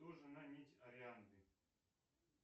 кто жена нить арианды